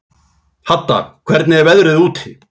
Hadda, hvernig er veðrið úti?